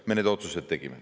Me need otsused tegime.